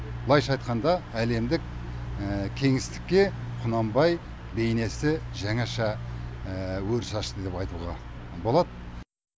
былайынша айтқанда әлемдік кеңістікке құнанбай бейнесі жаңаша өріс ашты деп айтуға болады